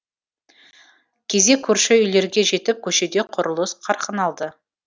кезек көрші үйлерге жетіп көшеде құрылыс қарқын алды